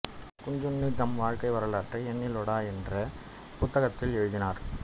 குஞ்சுண்ணி தம் வாழ்க்கை வரலாற்றை என்னிலூடெ என்ற புத்தகத்தில் எழுதினார்